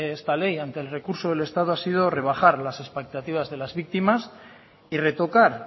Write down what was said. esta ley ante el recurso del estado ha sido rebajar las expectativas de las víctimas y retocar